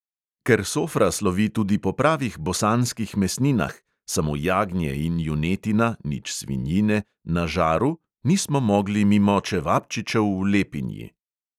Ker sofra slovi tudi po pravih bosanskih mesninah (samo jagnje in junetina; nič svinjine) na žaru, nismo mogli mimo čevapčičev v lepinji.